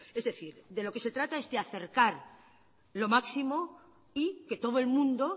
es decir de lo que se trata es de acercar lo máximo y que todo el mundo